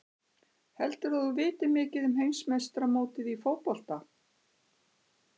Heldurðu að þú vitir mikið um heimsmeistaramótið í fótbolta?